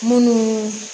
Munnu